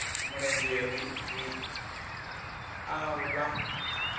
mulenzhe ri ri a vha